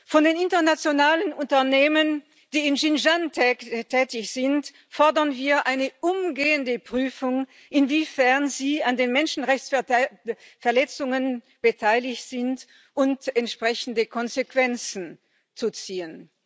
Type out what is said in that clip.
Von den internationalen Unternehmen, die in Xinjiang tätig sind, fordern wir eine umgehende Prüfung, inwiefern sie an den Menschenrechtsverletzungen beteiligt sind, und entsprechende Konsequenzen zu ziehen.